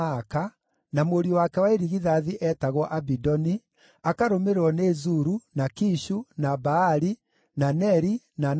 na mũriũ wake wa irigithathi eetagwo Abidoni, akarũmĩrĩrwo nĩ Zuru, na Kishu, na Baali, na Neri, na Nadabu,